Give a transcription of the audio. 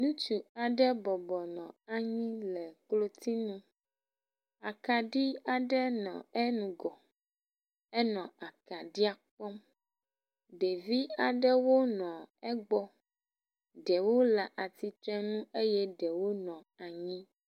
Ŋutsu aɖe bɔbɔ nɔ anyi le klotsi nu, akaɖi aɖe nɔ enugɔ, enɔ akaɖia kpɔm, ɖevi aɖewo nɔ egbɔ, ɖewo le atsitre nu eye ɖewo nɔ anyi